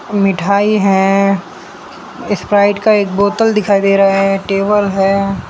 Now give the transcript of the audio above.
मिठाई है स्प्राइट का एक बोतल दिखाई दे रहा है टेबल है।